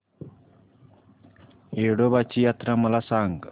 येडोबाची यात्रा मला सांग